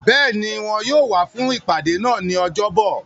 Béèni, Wọn yóò wá fún ìpàdé náà ní ọjọ́ bọ̀.